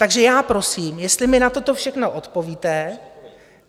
Takže já prosím, jestli mi na toto všechno odpovíte.